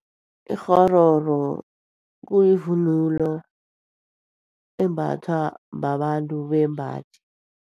Ikghororo kuyivunulo embathwa babantu bembaji.